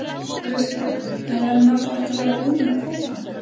Kristján: En eru menn þá ekki að verða búnir með kvótann?